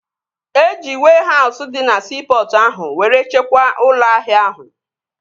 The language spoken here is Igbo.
Eji wehause dị na siipọtụ ahụ were chekwaa ụlọ ahịa ahụ